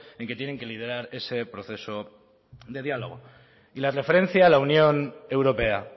en que tienen que liderar ese proceso de diálogo y la referencia a la unión europea